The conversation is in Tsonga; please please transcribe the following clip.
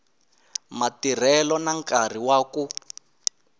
matirhelo na nkarhi wa ku